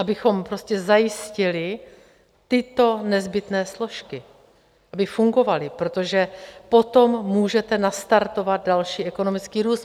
Abychom prostě zajistili tyto nezbytné složky, aby fungovaly, protože potom můžete nastartovat další ekonomický růst.